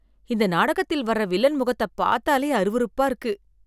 இந்த நாடகத்தில் வர வில்லன் முகத்தை பார்த்தாலே அருவருப்பா இருக்கு